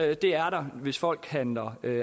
er der hvis folk handler